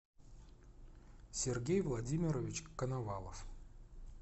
сергей владимирович коновалов